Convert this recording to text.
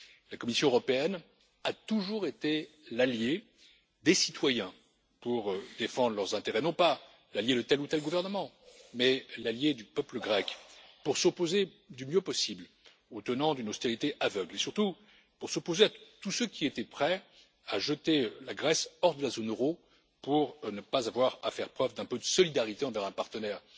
La Commission européenne a toujours été l'alliée des citoyens pour défendre leurs intérêts. Non pas l'alliée de tel ou tel gouvernement, mais l'alliée du peuple grec pour s'opposer, du mieux possible, aux tenants d'une austérité aveugle, et surtout pour s'opposer à tous ceux qui étaient prêts à jeter la Grèce hors de la zone euro pour ne pas avoir à faire preuve d'un peu de solidarité envers un partenaire.